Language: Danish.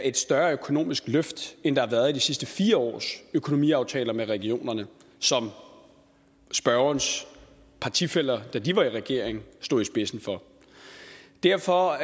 et større økonomisk løft end der har været i de sidste fire års økonomiaftaler med regionerne som spørgerens partifæller da de var i regering stod i spidsen for derfor